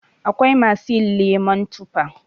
Akwai masu yin lemon tufa.